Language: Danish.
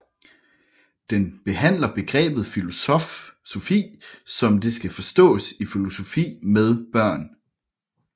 Den behandler begrebet filosofi som det skal forstås i filosofi med børn